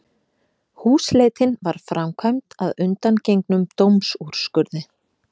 Húsleitin var framkvæmd að undangengnum dómsúrskurði